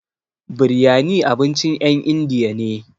Biryani abincin ƴen indiya ne.